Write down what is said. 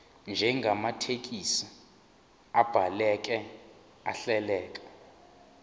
njengamathekisthi abhaleke ahleleka